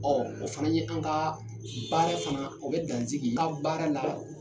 Ɔɔ, o fana ye an ka baara fana o be dan sigi ka baara la